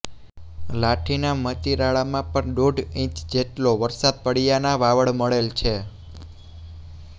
લાઠીનાં મતીરાળામાં પણ દોઢ ઈંચ જેટલો વરસાદ પડયાનાં વાવડ મળેલ છે